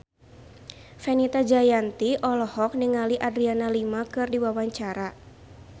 Fenita Jayanti olohok ningali Adriana Lima keur diwawancara